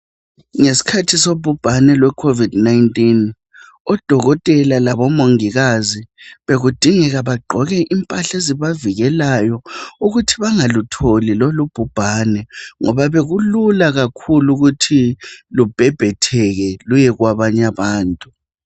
Ngesikhathi sobhubhane loCovid 19 odokotela labomongikazi bekudingeka bagqoke impahla ezibavikelayo ukuthi bangalutholi lolubhubhane ngoba bekulula kakhulu ukuthi lubhebhetheke luye kwabanye abantu.